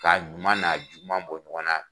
K'a ɲuman n'a juguma bɔ ɲɔgɔn na.